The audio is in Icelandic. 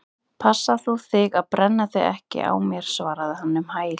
Passa þú þig að brenna þig ekki á mér- svaraði hann um hæl.